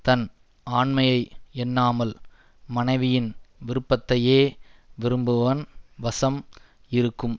தன் ஆண்மையை எண்ணாமல் மனைவியின் விருப்பத்தையே விரும்புபவன் வசம் இருக்கும்